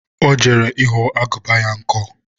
ọ jere ịghọ agụba ya nkọ